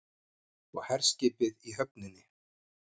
Og herskipið í höfninni.